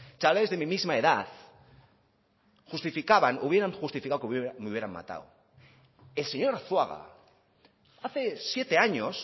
chavales de mi misma edad justificaban o hubieran justificado que a mí me hubieran matado el señor arzuaga hace siete años